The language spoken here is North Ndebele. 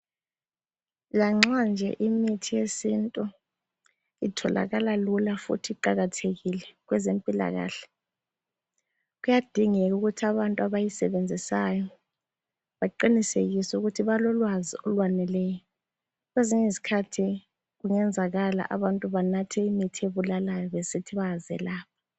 Lanxa nje imithi yesintu itholakala lula futhi iqakathekile kwezempilakahle, kuyadingeka ukuthi abantu abayisebenzisayo baqinisekise ukuthi balolwazi olwaneleyo. Kwezinye izikhathi kungenzekala abantu banathe imithi ebulalayo besithi bayazelapha.